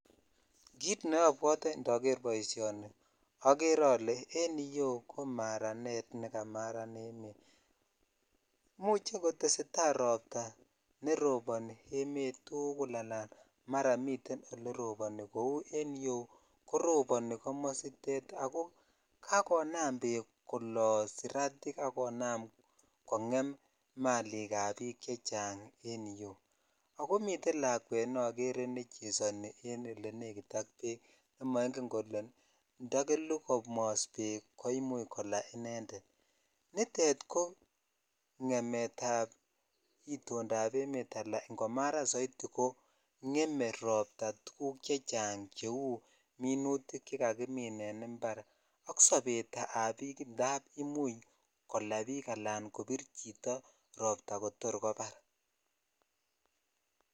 Kit neobwote indoker boishoni okere ale en yuu ko maranet nekamaran emet imuche kotesetai robta netoboni emet tukul ala mara miten ole roboni kou en yu koroboni komositet ako kakonam beek kolo siratik ak konam kongem malik ab bik chechang en yuu miten lakwet nokere nechesoni en olenekit ak bek nemoingen kol indakelu komos beek koimuch kola inended nitet ngemet ab idotap emet ala iko maran soiti ko ngeme robta tuguk chechang cheu minitik che kakimin en impar ak sobet ab bik indap kola biik ala kobir chito robta kotor kobar.